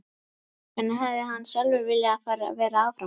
En hefði hann sjálfur viljað vera áfram?